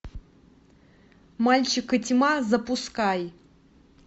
мальчик и тьма запускай